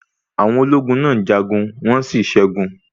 Àwọn ológun náà jagun, wọ́n sí ṣẹgun.